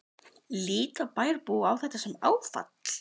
Björn: Líta bæjarbúar á þetta sem áfall?